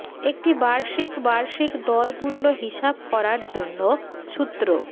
একটি বার্ষিক বার্ষিক দর মূল্য হিসাব করার জন্য সূত্র